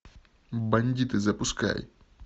бандиты запускай